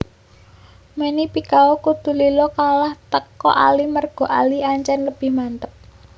Manny Pacquiao kudu lila kalah teko Ali merga Ali ancen lebih mantep